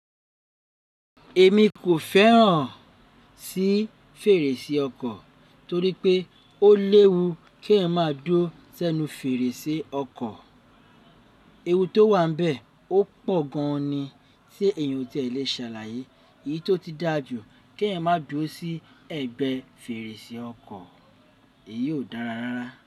Èmi kò fẹ́ràn sí fèrèsé ọkọ̀ torí pé ó léwu kí ẹeyan máa dúró sẹ́nu fèrèsé ọkọ̀. Ewu tó wà n bẹ́ẹ̀ ó pọ̀ gan an ni tí èèyàn ò tíì e le sàlàyé. Èyí tó ti dàjú kí ẹeyan má dúró sí ẹ̀gbẹ́ fèrèsé ọkọ̀, èyí ó dára rárá.